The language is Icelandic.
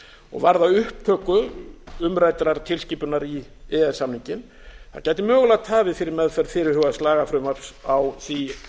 og varða upptöku umræddrar tilskipunar í e e s samninginn það gæti mögulega tafið fyrir meðferð fyrirhugaðs lagafrumvarps á því